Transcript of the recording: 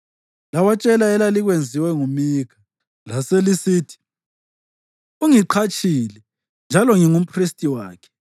Lawatshela elalikwenziwe nguMikha, laselisithi, “Ungiqatshile njalo ngingumphristi wakhe.”